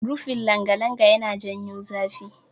Rufin langalanga yana janyo zafi.